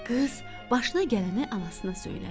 Qız başına gələni anasına söylədi.